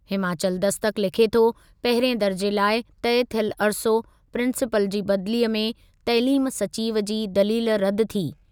हिमाचल दस्तक लिखे थो, पहिरिएं दरिज़े लाइ तइ थिए अरिसो, प्रींसीपाल जी बदिलीअ में तइलीम सचिवु जी दलील रदि थी।